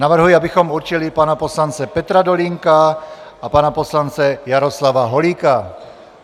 Navrhuji, abychom určili pana poslance Petra Dolínka a pana poslance Jaroslava Holíka.